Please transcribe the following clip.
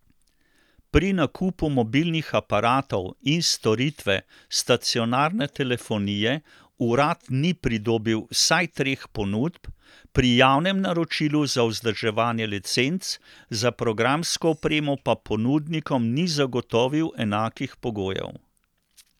Pri nakupu mobilnih aparatov in storitve stacionarne telefonije urad ni pridobil vsaj treh ponudb, pri javnem naročilu za vzdrževanje licenc za programsko opremo pa ponudnikom ni zagotovil enakih pogojev.